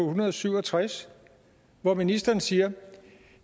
hundrede og syv og tres hvor ministeren siger